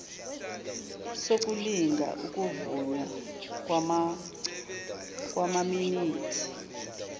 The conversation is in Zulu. sokulinga ukuvunywa kwamaminithi